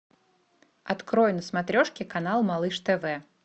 открой на смотрешке канал малыш тв